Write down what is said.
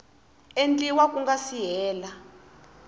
endliwa ku nga si hela